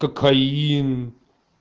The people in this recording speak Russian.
кокаин